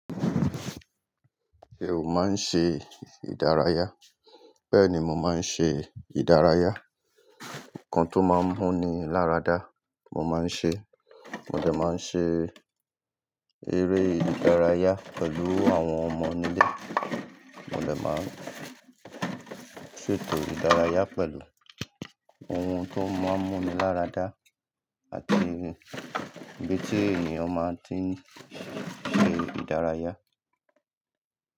Ṣé o máa ń ṣe ìdárayá? Bẹ́ẹ̀ni, mo máa ń ṣe ìdárayá. Nkán tó máa ń múni láradá mo máa ń ṣe. Mo de máa ń ṣe eré ìdárayá pẹ̀lú àwọn ọmọ nílé. Mo de máa ń ṣètò ìdárayá pẹ̀lú ohun tó máa ń múni láradá àti bí tí ènìyàn máa ti ń ṣe ìdárayá.